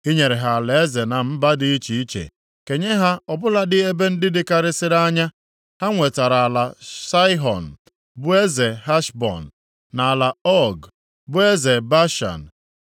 “I nyere ha alaeze na mba dị iche iche, kenye ha ọbụladị ebe ndị dịkarịsịrị anya. Ha nwetara ala Saịhọn bụ eze Heshbọn, na ala Ọg bụ eze Bashan.